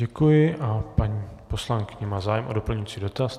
Děkuji a paní poslankyně má zájem o doplňující dotaz.